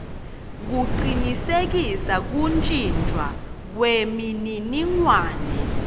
kucinisekisa kuntjintjwa kwemininingwane